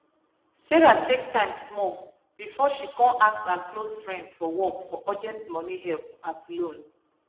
sarah take time small before she kon ask her close friends for work for urgent money help as loan